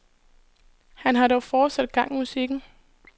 Han har dog fortsat gang i musikken.